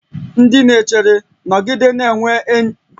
Ndị na-echere, nọgide na-enwe mkparịta ụka enyi na enyi mgbe ị na-ejere ndị ahịa ozi